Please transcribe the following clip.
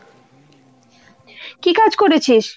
কী কাজ করেছিস ?